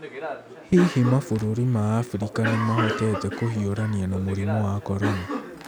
Hihi mabũrũri ma Abirika nĩ mahotete kũhiũrania na mũrimũ wa Corona?